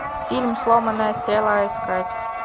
фильм сломанная стрела искать